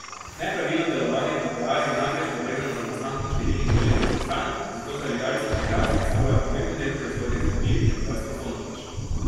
Nepravilno delovanje proteaz je namreč povezano z nastankom številnih bolezenskih stanj, zato zaviralci proteaz predstavljajo pomemben del proizvodnje zdravil, je pojasnil Fonović.